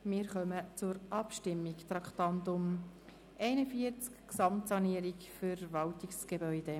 Wir kommen zur Abstimmung zum Traktandum 41: «Gesamtsanierung Verwaltungsgebäude».